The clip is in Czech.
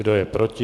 Kdo je proti?